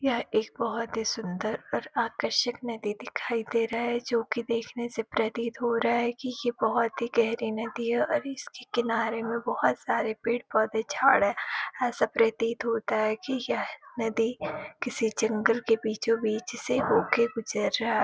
यह एक बहोत ही सुंदर और आकर्षिक नदी दिखाय दे रहा है जो कि देखने से प्रतीत हो रहा है की ऐ बहोत ही गहरी नदी है और इसके किनारे में बहोत सारे पेड़-पोधे झाड है। ऐसा प्रतीत होता है की यह नदी किसी जंगल की बीचो बीच से होके गुजर रहा है।